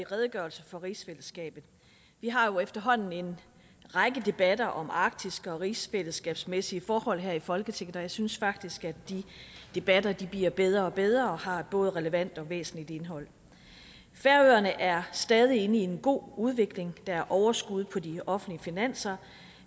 redegørelse for rigsfællesskabet vi har jo efterhånden en række debatter om arktis og rigsfællesskabsmæssige forhold her i folketinget og jeg synes faktisk at de debatter bliver bedre og bedre og har et både relevant og væsentligt indhold færøerne er stadig inde i en god udvikling der er overskud på de offentlige finanser